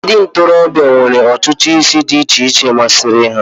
ndị ntorobịa nwere ntutu isi dị iche iche masịrị ha